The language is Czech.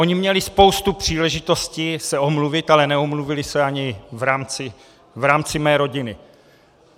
Oni měli spoustu příležitosti se omluvit, ale neomluvili se ani v rámci mé rodiny.